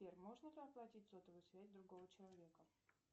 сбер можно оплатить сотовую связь другого человека